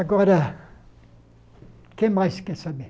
Agora, o que mais que você quer saber?